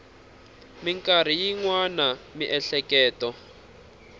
mikarhi yin wana miehleketo a